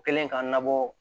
Kɛlen k'a nabɔ